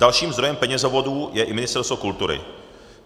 Dalším zdrojem penězovodů je i Ministerstvo kultury.